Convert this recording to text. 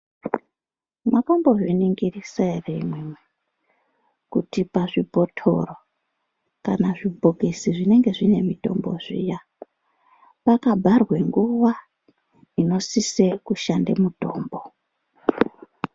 Mwakambo zviningirisa ere imwimwi kuti pazvibotoro kana zvibhokisi zvinenge zvine mutombo zviya paka bharwe nguwa inosise kushande mutombo.